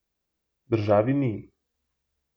Državi ni.